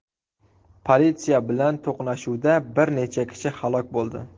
Politsiya bilan to‘qnashuvda bir necha kishi halok bo‘ldi.